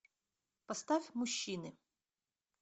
поставь мужчины